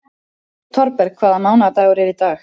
Thorberg, hvaða mánaðardagur er í dag?